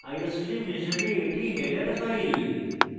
iostream হিসাবে এটি header file